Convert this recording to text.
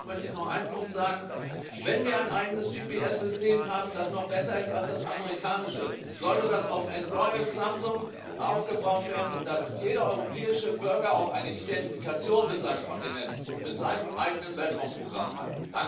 Abschließend möchte ich noch einen Punkt nennen Wenn wir ein eigenes GPS System haben, das noch besser ist als das amerikanische, sollte das auf ein Android Samsung aufgebaut werden, damit jeder europäische Bürger auch eine Identifikation mit seinem Kontinent und mit seinem eigenen Weltraumprogramm hat.